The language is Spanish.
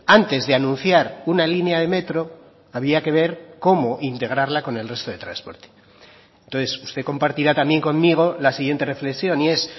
antes de anunciar una línea de metro había que ver cómo integrarla con el resto de transporte entonces usted compartirá también conmigo la siguiente reflexión y es